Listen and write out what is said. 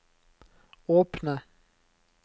åpne